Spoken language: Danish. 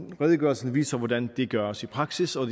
redegørelsen viser hvordan det gøres i praksis og